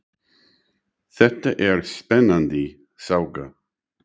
Þetta er spennandi saga.